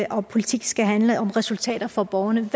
og at politik skal handle om resultater for borgerne vil